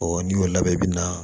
n'i y'o labɛn i bi na